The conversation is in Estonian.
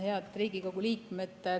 Head Riigikogu liikmed!